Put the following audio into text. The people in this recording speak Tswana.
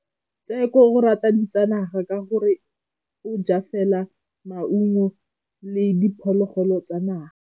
Tshekô o rata ditsanaga ka gore o ja fela maungo le diphologolo tsa naga.